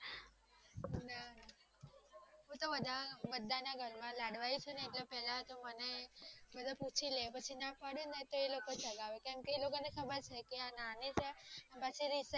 હું તો બધાના બધાના ઘરમાં ચુને એટલે પેલા તો બધાને પૂછી લે પછી ના પડે ને તોહ એ લોકો ચગાવે કેમ કે એલોકો ને ખબર છે આ જાય પછી રીસાયી જાય